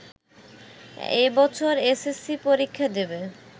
এবছর এসএসসি পরীক্ষা দেবে